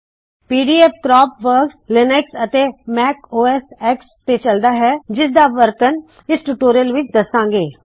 PDF crop works Linux ਅਤੇ Mac OS X ਤੇ ਚੱਲਦਾ ਹੈ ਜਿਸ ਦਾ ਵਰਤਨ ਇਸ ਟਯੂਟੋਰਿਯਲ ਵਿੱਚ ਦੱਸਾੰ ਗੇ